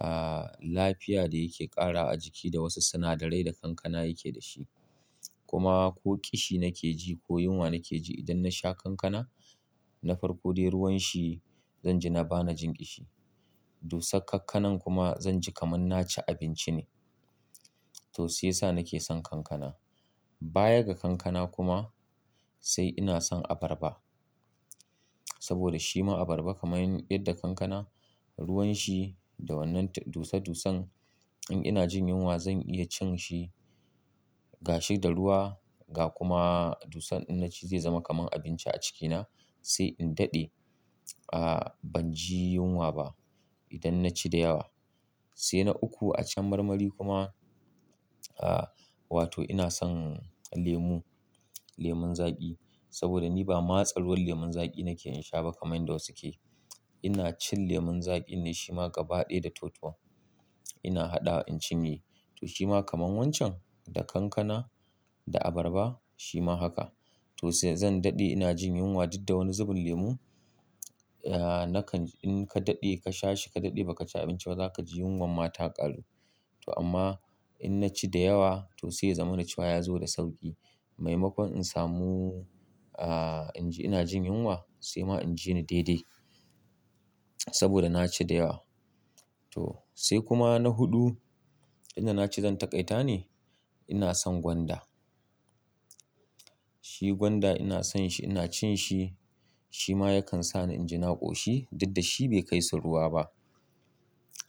ah, lafiya da yake ƙara a jiki da wasu sinadarai da kankana yake dashi. Kuma ko ƙishi nake ji ko yunwa nake ji idan nasha kankana na farko dai ruwan shi zan ji na bani jin ƙishi. Dusar kankanan kuma zan ji kamar na ci abinci ne. To, shi yasa nake son kankana. Bayaga kankana kuma sai ina son abarba. Saboda shi ma abarba kamar yadda kankana ruwan shi da wannan dusa-dusan in ina jin yunwa zan iya cin shi gashi da ruwa ga kuma dusan in na ci zai zama kamar abinci a cikina. Sai in daɗe, ah, ban ji yunwa ba idan na ci da yawa. Sai na uku a can marmari kuma, ah, wato ina son lemu. Lemun zaƙi. Saboda ni ba matsa ruwan lemon zaƙi nake in sha ba kamar yadda wasu ke. Ina cin lemon zaƙi ne shi ma gaba ɗaya da toton. Ina haɗawa in cinye. To, shi ma kamar wancan da kankana da abarba shi ma haka. To sai zan daɗe ina jin yunwa, didda wani zubun lemu, ah, nakan in ka daɗe ka sha shi ka daɗe ba ka ci abinci ba za ka ji yunwan ma ta kalu. To amma in na ci da yawa to sai ya zama na ciwa yazo da sauƙi. Maimakon in samu, ah, in ina jin yunwa sai ma in ji ni daidai. Saboda na ci da yawa. To, sai kuma na huɗu, inda na ce zan taƙaita ne ina son gwanda. Shi gwanda ina son shi ina cin shi. Shi ma yakan sa ni inji na ƙoshi, didda shi bai kaisu ruwa ba.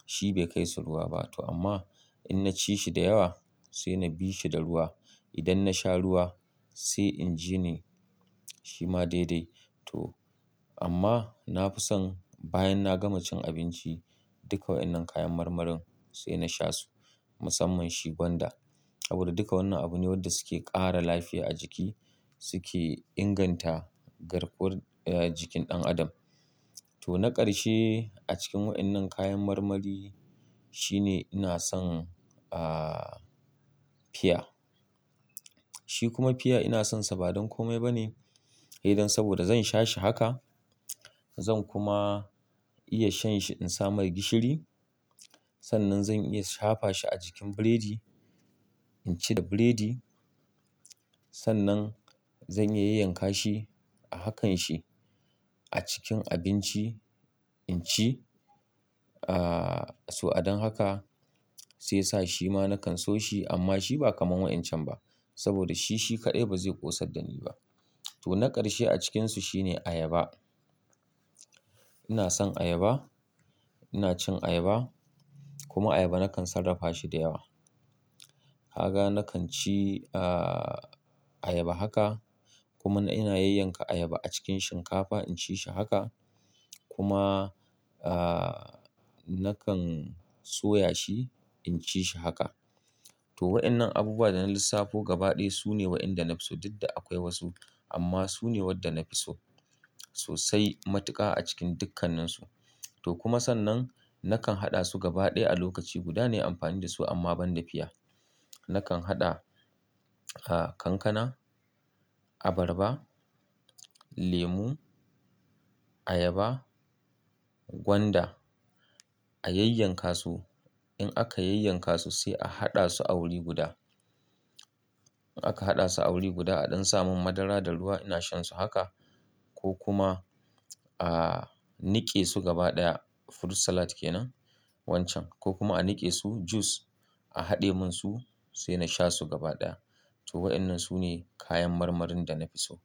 Shi bai kaisu ruwa ba. To amma in na ci shi da yawa sai na bi shi da ruwa. Idan na sha ruwa sai inji ni shi ma daidai. To amma na fi son bayan na gama cin abinci duka waɗannan kayan marmarin sai na sha su. Musamman shi gwanda. Saboda duka wannan abu ne wanda suke ƙara lafiya a jiki. Suke inganta garkuwar, eh, jikin ɗan adam. To na ƙarshe a cikin waɗannan kayan marmari shine ina son, ah, fiya. Shi kuma fiya ina sonsa ba don kome ba ne idan saboda zan sha shi haka zan kuma iya shan shi in sa mai gishiri. Sannan zan iya shafa shi a jikin burodi in ci da burodi. Sannan zan iya yanyanka shi a hakanshi a cikin abinci in ci. Ah, to a don haka sai sa shi ma na kan so shi amma shi ba kamar waɗancan ba. Saboda shi, shi kaɗai ba zai ƙosar da ni ba. To na ƙarshe a cikinsu shine ayaba. Ina son ayaba. Ina cin ayaba, kuma ayaba na kan sarrafa shi da yawa. Haga na kan ci, ah, ayaba haka. Kuma ina yanyanka ayaba a cikin shinkafa in ci shi haka. Kuma, ah, na kan soya shi in ci shi haka. To waɗannan abubuwa da na lissafo gaba ɗaya su ne waɗanda na fi so dddda akwai wasu. Amma su ne waɗanda na fi so. Sosai matuka a cikin dukkanninsu. To kuma sannan na kan haɗa su gaba ɗaya a lokaci guda ne amfani da su amma ban da fiya. Na kan haɗa, ah, kankana, abarba, lemu, ayaba, gwanda a yanyanka su. In aka yanyanka su sai a haɗa su a wuri guda. In aka haɗa su a wuri guda a don samun madara da ruwa ina shan su haka. Ko kuma, ah, nike su gaba ɗaya fruit salad kenan wancan. Ko kuma a nike su jus a haɗe mun su sai na sha su gaba ɗaya. To waɗannan su ne kayan marmarin da na fi so.